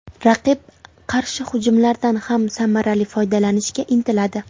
Raqib qarshi hujumlardan ham samarali foydalanishga intiladi.